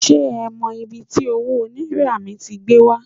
Se e mo ibi ti owo naira mi ti gbe wa